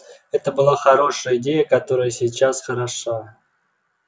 это была хорошая идея которая и сейчас хороша